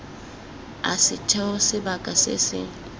a setheo sebaka se se